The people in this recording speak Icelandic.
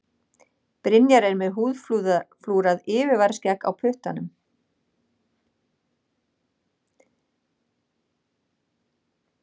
Brynjar er með húðflúrað yfirvaraskegg á puttanum.